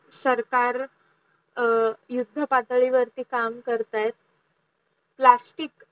सरकार युद्ध पाताडी वरती काम करत्ये plastic